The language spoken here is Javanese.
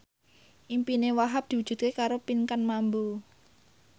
impine Wahhab diwujudke karo Pinkan Mambo